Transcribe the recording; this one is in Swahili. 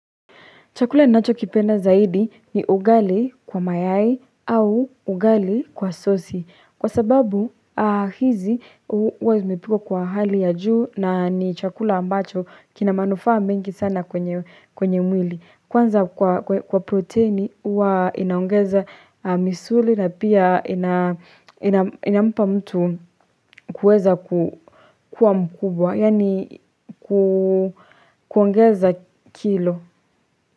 Chakula ni nacho kipenda zaidi ni ugali kwa mayai au ugali kwa sosi. Kwa sababu hizi uwezumipiko kwa hali ya juu na ni chakula ambacho kina manufa mbengi sana kwenye mwili. Kwanza kwa proteini uwa inaongeza misuli na pia ina mpa mtu kuweza kuwa mkubwa, yani kuongeza kilo.